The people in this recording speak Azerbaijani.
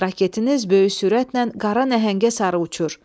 Raketiniz böyük sürətlə qara nəhəngə sarı uçur.